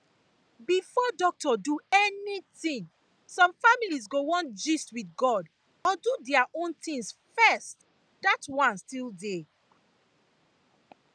before doctor do anything some families go wan gust with god or do their their own things first that one still dey